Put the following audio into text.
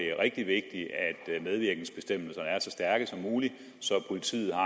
er rigtig vigtigt at medvirkensbestemmelserne er så stærke som muligt så politiet har